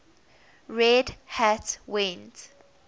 red hat went